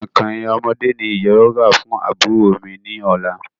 Kọ̀ìnkọ̀ìn ọmọdé ní ìyá yóò rà fún àbúrò mi ní ọ̀la